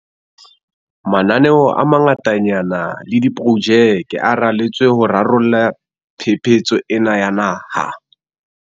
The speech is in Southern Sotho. Mananeo a mangatanyana le diprojeke a raletswe ho rarolla phephetso ena ya naha.